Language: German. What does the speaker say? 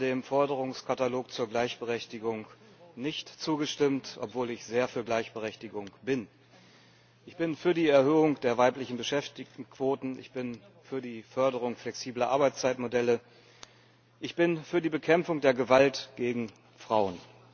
Ich habe dem Forderungskatalog zur Gleichberechtigung nicht zugestimmt, obwohl ich sehr für Gleichberechtigung bin. Ich bin für die Erhöhung der weiblichen Beschäftigtenquoten, ich bin für die Förderung flexibler Arbeitszeitmodelle, ich bin für die Bekämpfung der Gewalt gegen Frauen.